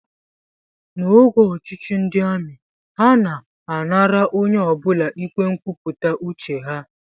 N'oge ọchịchị ndị amị, ha na-anara onye ọ bụla ike nkwupụta uche ha